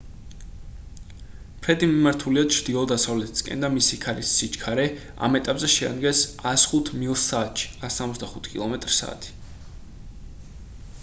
ფრედი მიმართულია ჩრდილო-დასავლეთისკენ და მისი ქარის სიჩქარე ამ ეტაპზე შეადგენს 105 მილს საათში 165 კმ/სთ